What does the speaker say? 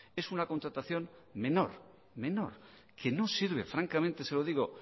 es una contratación menor que no sirve francamente se lo digo